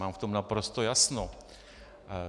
Mám v tom naprosto jasno.